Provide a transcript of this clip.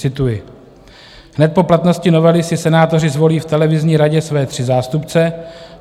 Cituji: "Hned po platnosti novely si senátoři zvolí v televizní radě své tři zástupce.